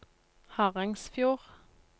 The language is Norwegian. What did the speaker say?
Harangsfjord